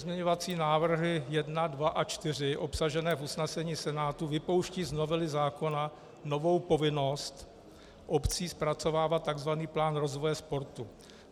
Pozměňovací návrhy 1, 2 a 4 obsažené v usnesení Senátu vypouštějí z novely zákona novou povinnost obcí zpracovávat tzv. plán rozvoje sportu.